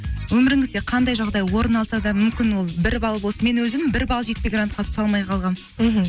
өміріңізде қандай жағдай орын алса да мүмкін ол бір балл болсын мен өзім бір балл жетпей грантқа түсе алмай қалғанмын мхм